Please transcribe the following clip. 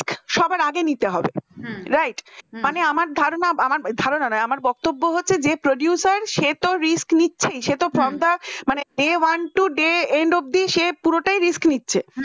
সবার আগে নিতে হবে right হম মানে আমার ধারণা আমার ধারণা নয় আর বক্তব্য হচ্ছে যে producer সে তো risk নিচ্ছেই day one to day and of the যে পুরোটা risk নিচ্ছে।